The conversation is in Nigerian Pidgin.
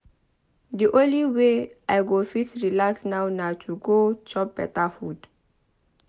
The only way I go fit relax now na to go chop beta food.